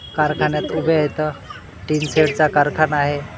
कारखान्यात उभे आहेत टिन शेड चा कारखाना आहे.